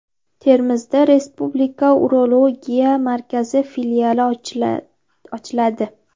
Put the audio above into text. Termizda Respublika urologiya markazi filiali ochiladi.